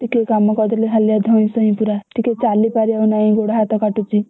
ଟିକେ କାମ କରିଦେଲେ ହାଲିଆ ଧଇଁସଇଁ ପୁରା ଟିକେ ଚାଲିପରିବ ନାଇଁ ଗୋଦହାତ କାଟୁଛି।